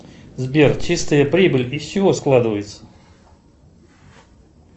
сбер чистая прибыль из чего складывается